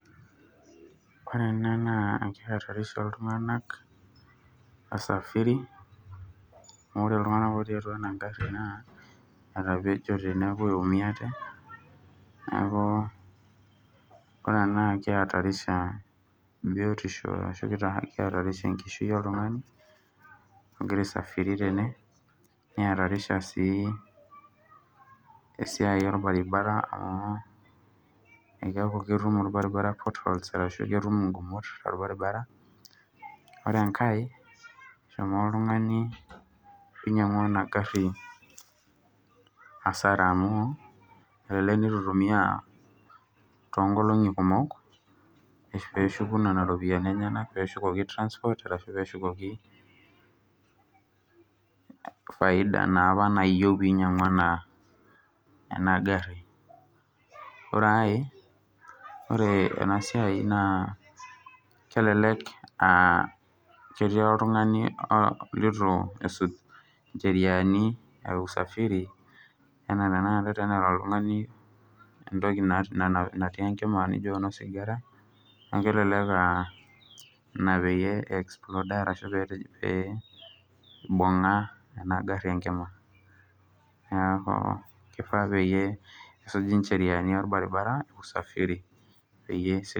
ore enaa naa engari nanapita iltunganak aa taa wasafiri niumiate kulo tunganak amuu etapejote naa ore ena naa kiatarisha enkishui oltungani otii tenebo esiai orbaribara amuu keeku ketum orbaribara ingumot ore enkae eshomo oltungani oinyangua ena gari asara amuu ebaiki nitu itumia toonkolongi kumok peeshuku nena ropiani aa faida naa apa nayiou piinyangua ore enkae naa ebaiki neetii oltungani litu esj injeriani e usafifiri ebaiki neetii oltungani ookito osigara neeku ebaki naa ninye oibungie neeku kifaa nesuji injeriani enaa enetiu